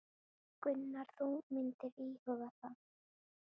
Gunnar: Þú myndir íhuga það?